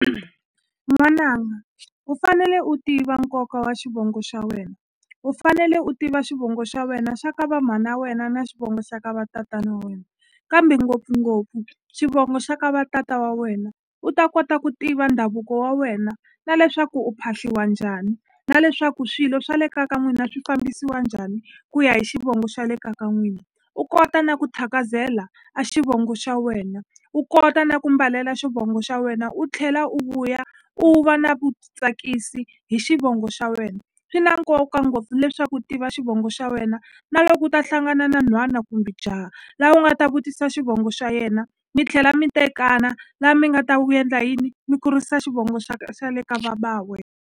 N'wananga u fanele u tiva nkoka wa xivongo xa wena u fanele u tiva xivongo xa wena xa ka va mhana ya wena na xivongo xa ka va tatana wena kambe ngopfungopfu xivongo xa ka va tata wa wena u ta kota ku tiva ndhavuko wa wena na leswaku u phahliwa njhani na leswaku swilo swa le ka ka n'wina swi fambisiwa njhani ku ya hi xivongo xa le ka ka n'wina u kota na ku thakazela a xivongo xa wena u kota na ku mbalela xivongo xa wena u tlhela u vuya u va na vutitsakisi hi xivongo xa wena swi na nkoka ngopfu leswaku u tiva xivongo xa wena na loko u ta hlangana na nhwana kumbe jaha la u nga ta vutisa xivongo xa yena mi tlhela mi tekana la mi nga ta wu endla yini mi kurisa xivongo xa ka xa le ka va ba wena.